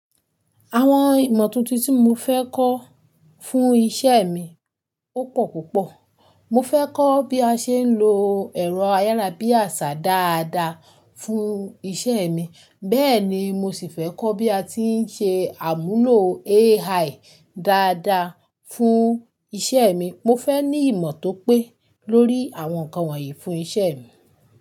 Àwọn ìmọ̀ tuntun tí mo fẹ́ kọ́ fún iṣẹ́ mi ó pọ̀ púpọ̀. Mo fẹ́ kọ́ bí a ṣe ń lo ẹ̀rọ ayárabíàṣá dáadáa fún iṣẹ́ mi, bẹ́ẹ̀ ni mo sì fẹ́ kọ́ bí a ti ń ṣe àmúlò AI dáadáa fún iṣẹ́ mi. Mo fẹ́ ní ìmọ̀ tó pé lórí àwọn nǹkan wọ̀nyí fún iṣẹ́ mi.